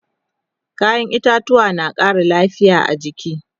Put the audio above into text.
kayan itatauwa na Ƙara lafia a jiki